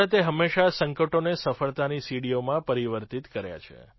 ભારતે હંમેશાં સંકટોને સફળતાની સીડીઓમાં પરિવર્તિત કર્યાં છે